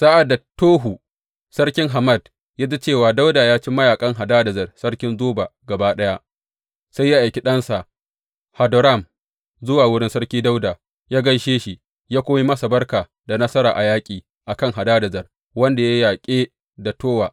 Sa’ad da Towu sarkin Hamat ya ji cewa Dawuda ya ci mayaƙan Hadadezer sarkin Zoba gaba ɗaya, sai ya aiki ɗansa Hadoram zuwa wurin Sarki Dawuda yă gaishe shi yă kuma yi masa barka da nasara a yaƙi a kan Hadadezer, wanda yake yaƙi da Towu.